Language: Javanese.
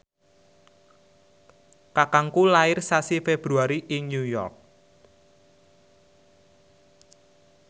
kakangku lair sasi Februari ing New York